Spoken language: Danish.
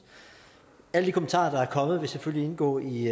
alle de kommentarer der er kommet vil selvfølgelig indgå i